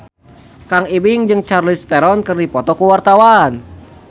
Kang Ibing jeung Charlize Theron keur dipoto ku wartawan